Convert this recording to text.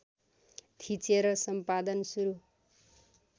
थिचेर सम्पादन सुरू